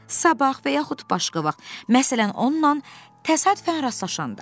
Sabah və yaxud başqa vaxt, məsələn, onunla təsadüfən rastlaşanda.